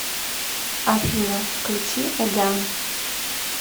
афина включи эган